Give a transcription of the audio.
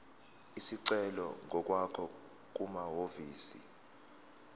isicelo ngokwakho kumahhovisi